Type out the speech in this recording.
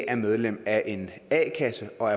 er medlem af en a kasse og